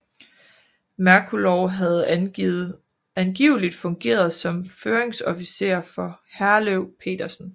Merkulov havde angiveligt fungeret som føringsofficer for Herløv Petersen